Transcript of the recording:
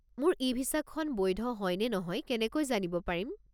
মোৰ ই-ভিছাখন বৈধ হয় নে নহয় কেনেকৈ জানিব পাৰিম?